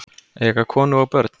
Eiga konu og börn?